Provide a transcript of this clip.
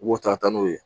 U b'o ta ka taa n'o ye